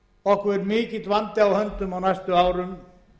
okkur er mikill vandi á höndum á næstu árum